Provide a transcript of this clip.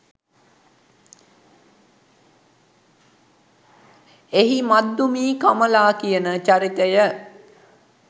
එහි මද්දුමී කමලා කියන චරිතය